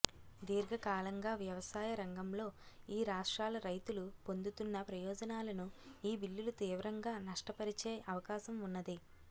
దీర్ఘకాలంగా వ్యవసాయ రంగంలో ఈ రాష్ట్రాల రైతులు పొందుతున్న ప్రయోజనాలను ఈ బిల్లులు తీవ్రంగా నష్టపరిచే అవకాశం ఉన్నది